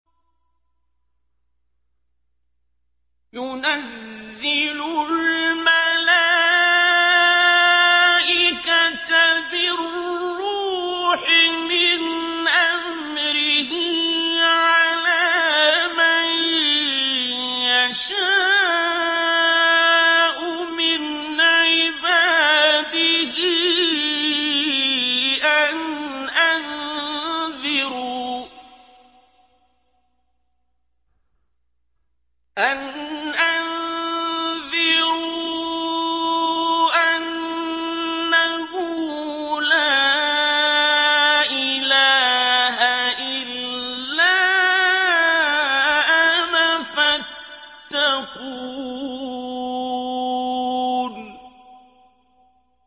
يُنَزِّلُ الْمَلَائِكَةَ بِالرُّوحِ مِنْ أَمْرِهِ عَلَىٰ مَن يَشَاءُ مِنْ عِبَادِهِ أَنْ أَنذِرُوا أَنَّهُ لَا إِلَٰهَ إِلَّا أَنَا فَاتَّقُونِ